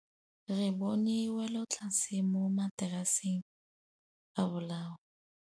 Re bone wêlôtlasê mo mataraseng a bolaô.